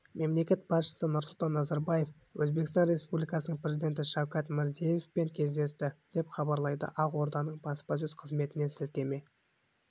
мемлекет басшысы нұрсұлтан назарбаев өзбекстан республикасының президенті шавкат мирзиевпен кездесті деп хабарлайды ақорданың баспасөз қызметіне сілтеме